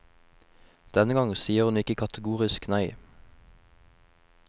Denne gang sier hun ikke kategorisk nei.